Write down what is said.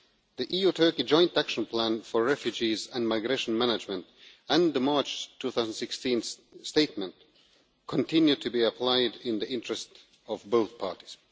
The EU-Turkey joint action plan for refugees and migration management and the March 2016 statement continue to be applied in the interest of both parties.